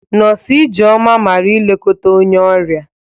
Nọs Ijeoma mara ilekọta onye ọrịa.